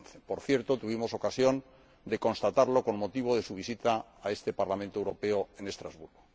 2011. Por cierto, tuvimos ocasión de constatarlo con motivo de su visita a este Parlamento Europeo en Estrasburgo.